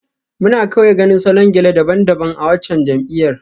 Muna kawai ganin salon gele daban-daban a waccan jam'iyyar.